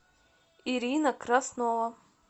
ирина краснова